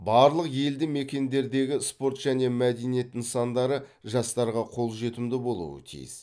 барлық елді мекендердегі спорт және мәдениет нысандары жастарға қолжетімді болуы тиіс